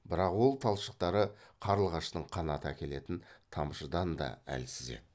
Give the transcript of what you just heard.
бірақ ол талшықтары қарлығаштың қанаты әкелетін тамшыдан да әлсіз еді